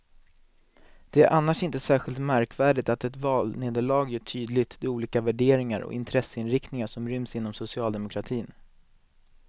Det är annars inte särskilt märkvärdigt att ett valnederlag gör tydligt de olika värderingar och intresseinriktningar som ryms inom socialdemokratin.